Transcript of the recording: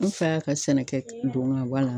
N fa y'a ka sɛnɛ kɛ don ga bɔ a la